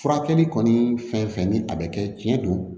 Furakɛli kɔni fɛn fɛn ni a bɛ kɛ tiɲɛ don